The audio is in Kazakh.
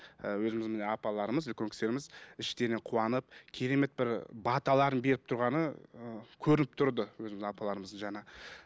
ііі өзіміздің міне апаларымыз үлкен кісілеріміз іштерінен қуанып керемет бір баталарын беріп тұрғаны ыыы көрініп тұрды өзіміздің апаларымыздың жаңа